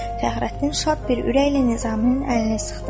Fəxrəddin şad bir ürəklə Nizaminin əlini sıxdı.